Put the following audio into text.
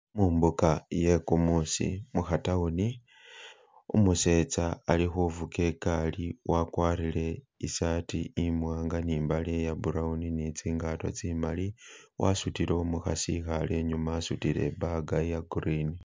Mumbuga yegumusi mu ka town umuseza ali kuvuga igaali wakwarile isaati imwanga ni imbale iy brown ni tsingato tsimali wasudile umukhasi ikhale inyuma wasudile bag iya green.